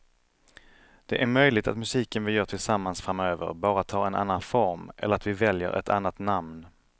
Det är möjligt att musiken vi gör tillsammans framöver bara tar en annan form eller att vi väljer ett annat namn.